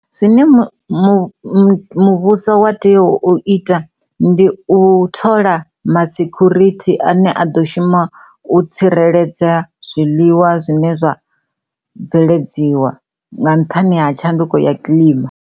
Zwine mu, mu, muvhuso wa tea u ita ndi u thola masekhurithi ane a ḓo shuma u tsireledza zwiḽiwa zwine zwa bveledziwa nga nṱhani ha tshanduko ya kiḽima.